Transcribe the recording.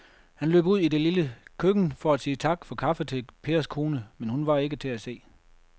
Han løb ud i det lille køkken for at sige tak for kaffe til Pers kone, men hun var ikke til at se.